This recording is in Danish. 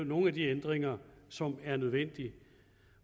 nogle af de ændringer som er nødvendige